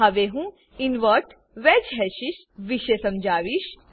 હવે હું invert wedge hashes invert wedged hashes વિષે સમજાવીશ